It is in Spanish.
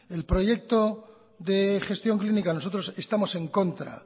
el proyecto de gestión clínica nosotros estamos en contra